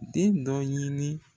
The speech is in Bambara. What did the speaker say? Den dɔ ɲini